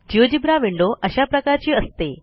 GeoGebra window अशा प्रकारची असते